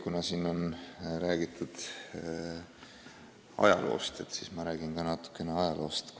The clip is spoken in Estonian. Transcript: Kuna siin on juba räägitud ajaloost, siis minagi räägin natukene ajaloost.